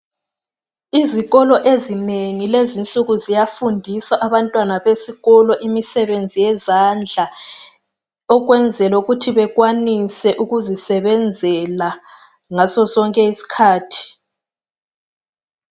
Izikolo ezinengi kulezinsuku ziyafundisa abantwana besikolo imisebenzi yezandla ukwenzelukuthi bekwanise ukuzisebenzela ngaso sonke isikhathi.